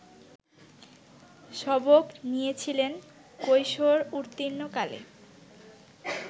সবক নিয়েছিলেন কৈশোর-উত্তীর্ণ কালে